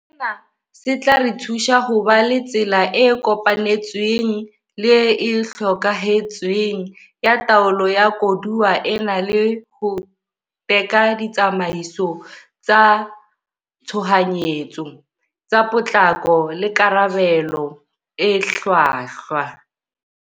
Sena se tla re thusa ho ba le tsela e kopanetsweng le e hokahantsweng ya taolo ya koduwa ena le ho teka ditsamaiso tsa tshohanyetso, tsa potlako le karabelo e hlwahlwa.